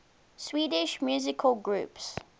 swedish musical groups